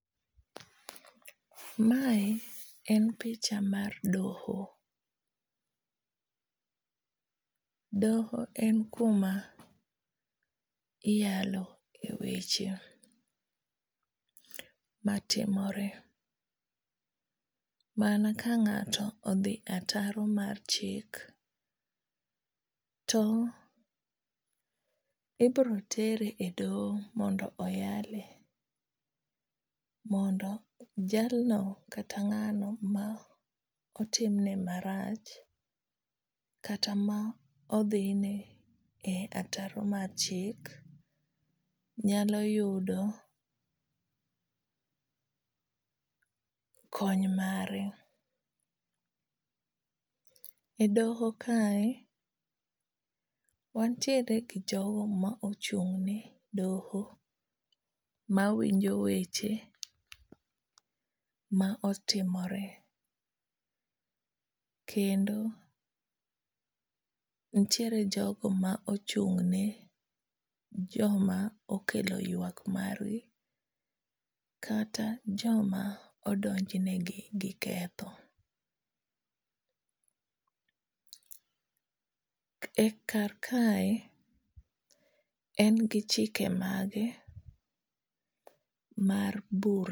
Mae en picha mar doho. Doho en kuma iyalo e weche matimore. Mana ka ngáto odhi ataro mar chik, to ibiro tere mondo oyale, mondo jalno kana ngáno ma otimne marach, kata ma odhine e ataro mar chik, nyalo yudo kony mare. E doho kae, wantiere gi jogo ma ochung'ne doho, mawinjo weche ma otimore. Kendo nitiere jogo ma ochung'ne joma okelo ywak margi kata joma odonj negi gi ketho. E karkae en gi chike mage mar bur.